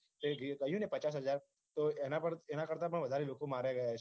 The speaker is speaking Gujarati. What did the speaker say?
તે કહ્યું ને પચાસ હાજર તો એના પર એના કરતા પણ વધારે લોકો માર્યા ગયા છે